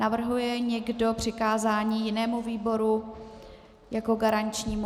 Navrhuje někdo přikázání jinému výboru jako garančnímu?